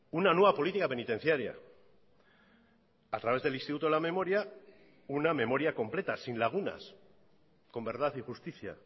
una nueva política penitenciaria a través del instituto de la memoria una memoria completa sin lagunas con verdad y justicia